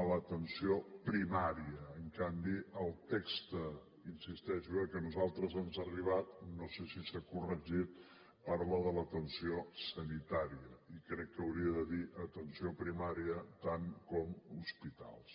a l’atenció primària en canvi el text hi insisteixo eh que a nosaltres ens ha arribat no sé si s’ha corregit parla de l’ atenció sanitària i crec que hauria de dir atenció primària tant com hospitals